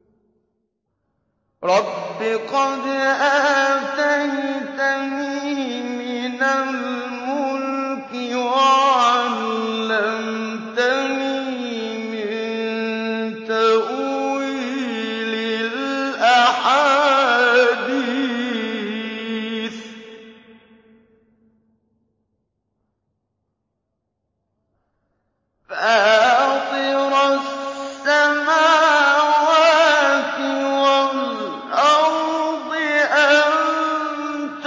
۞ رَبِّ قَدْ آتَيْتَنِي مِنَ الْمُلْكِ وَعَلَّمْتَنِي مِن تَأْوِيلِ الْأَحَادِيثِ ۚ فَاطِرَ السَّمَاوَاتِ وَالْأَرْضِ أَنتَ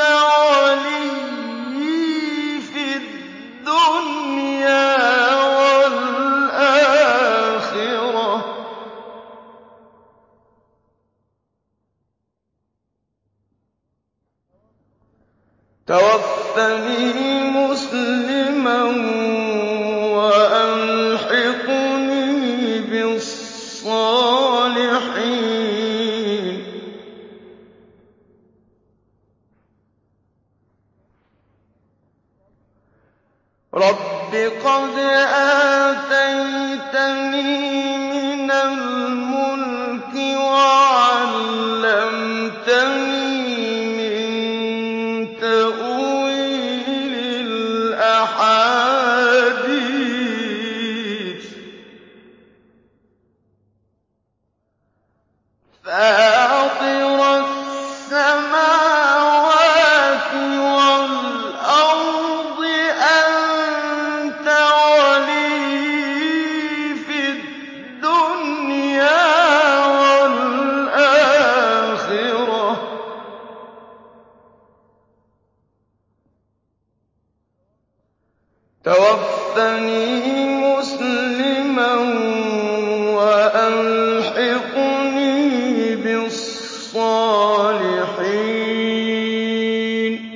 وَلِيِّي فِي الدُّنْيَا وَالْآخِرَةِ ۖ تَوَفَّنِي مُسْلِمًا وَأَلْحِقْنِي بِالصَّالِحِينَ